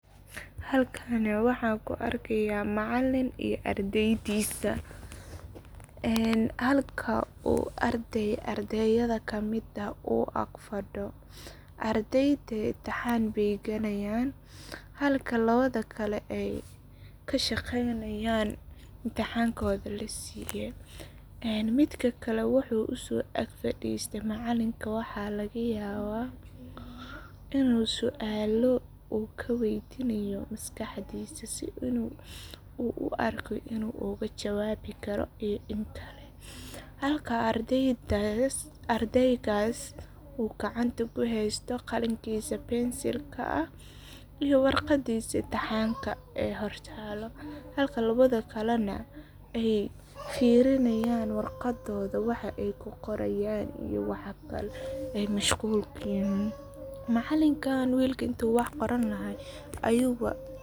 Waayeelku waa lafdhabarta bulshada, waana tiir muhiim ah oo lagu dhiso aqoonta, anshaxa, iyo dhaqanka jiilasha soo koreysa, waxayna door lama huraan ah ka ciyaaraan gudbinta xikmadda, waayo-aragnimada iyo waxbarashada nolosha ku dhisan ee ay ka dhaxleen waayo-aragnimo iyo dhacdooyin kala duwan oo ay la kulmeen intii ay noolaa; sidaas darteed, markay waayeelku fariistaan carruurta ama dhallinyarada, waxay si taxaddar leh ugu gudbiyaan tusaalooyin nololeed oo wax ku ool ah, sida sida loo maareeyo xaaladaha adag, hab-dhaqanka wanaagsan ee bulshada lagu dhex noolaado, xushmada waalidka iyo macallimiinta, iyo weliba qiimaha ay leedahay aqoonta lagu kasbado dadaal iyo dulqaad, taasoo dhalinyarada ka caawinaysa in ay yeeshaan aragti fog, ixtiraam, iyo faham qoto dheer oo ku aaddan nolosha.